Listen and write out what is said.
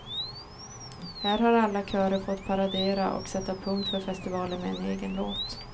Här har alla körer fått paradera och sätta punkt för festivalen med en egen låt.